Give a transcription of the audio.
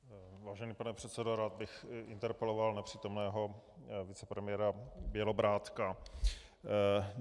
Vážený pane předsedo, rád bych interpeloval nepřítomného vicepremiéra Bělobrádka.